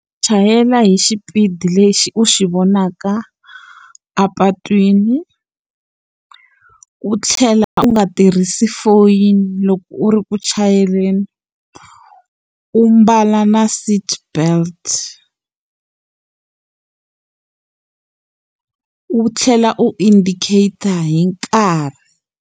Chayela hi xipidi lexi u xi vonaka a patwini. U tlhela u nga tirhisi foyini loko u ri ku chayeleni. U mbala na seatbelt U tlhela u indicate-ta hi nkarhi.